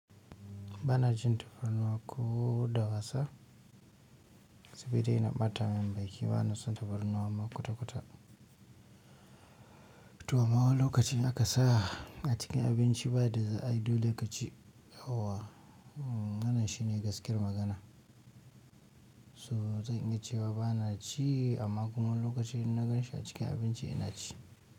Ba na cin tafarnuwa ko da wasa saboda yana ɓatamin baki ba na son tafarnuwa ma kwata-kwata to amma wani lokacin aka sa a cikin abinci ba da ai dole ka ci. Wannan shi ne gaskiyar magana. So zan iya cewa ba na ci amma kuma wani lokacin in na gan shi a cikin abinci ina ci.